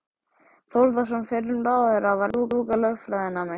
Þórðarson fyrrum ráðherra, var að ljúka lögfræðinámi.